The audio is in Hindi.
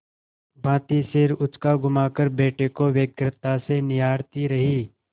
भाँति सिर उचकाघुमाकर बेटे को व्यग्रता से निहारती रही